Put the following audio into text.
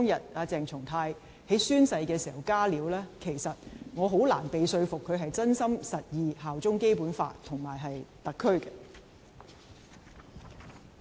對於鄭松泰在宣誓當天"加料"，我很難被說服，他是真心實意效忠《基本法》和特區。